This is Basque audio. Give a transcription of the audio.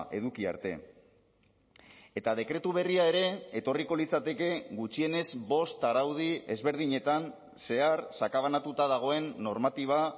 eduki arte eta dekretu berria ere etorriko litzateke gutxienez bost araudi ezberdinetan zehar sakabanatuta dagoen normatiba